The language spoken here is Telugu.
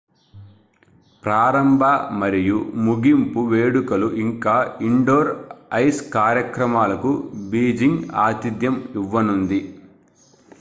ప్రారంభ మరియు ముగింపు వేడుకలు ఇంకా ఇండోర్ ఐస్ కార్యక్రమాలకు బీజింగ్ ఆతిథ్యం ఇవ్వనుంది